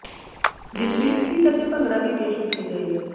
ਜਿਸ ਵਿੱਚ ਸਕਿਟ ਅਤੇ ਭੰਗੜਾ ਵੀ ਪੇਸ਼ ਕੀਤੇ ਗਏ